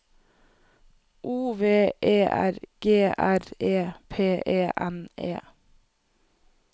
O V E R G R E P E N E